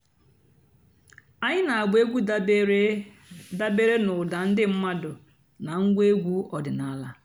ányị́ nà-àgbà ègwú dàbèré dàbèré n'ụ́dà ndị́ m̀mádụ́ nà ǹgwá ègwú ọ̀dị́náàlà.